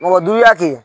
Mɔgɔ duya kɛ